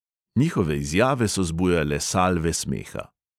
Njihove izjave so zbujale salve smeha.